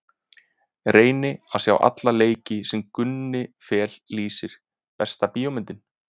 Reyni að sjá alla leiki sem Gunni Fel lýsir Besta bíómyndin?